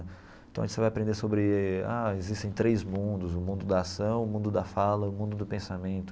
Então você vai aprender sobre, ah existem três mundos, o mundo da ação, o mundo da fala, o mundo do pensamento.